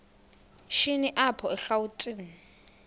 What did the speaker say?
shini apho erawutini